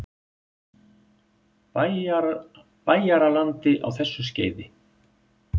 Bæjaralandi á þessu skeiði.